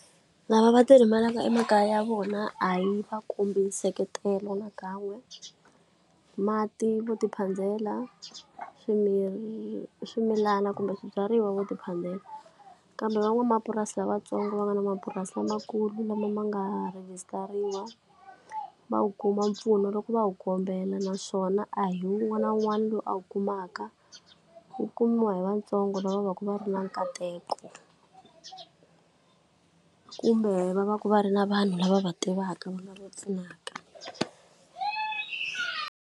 Lava va ti rimelaka emakaya ya vona a yi va kombi nseketelo na kan'we. Mati vo tiphandela, swimilana kumbe swibyariwa vo tiphandela. Kambe van'wamapurasi a lavatsongo va nga na mapurasi lamakulu lama ma nga rhigisitariwa va wu kuma mpfuno loko va wu kombela. Naswona a hi wun'wana na wun'wana lowu a wu kumaka wu kumiwa hi vantsongo lava va va ku va ri na nkateko kumbe va va ku va ri na vanhu lava va tivaka va nga va pfunaka.